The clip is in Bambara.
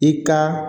I ka